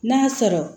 N'a sɔrɔ